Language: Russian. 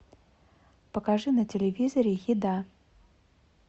покажи на телевизоре еда